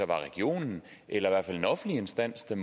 var regionen eller i hvert fald en offentlig instans der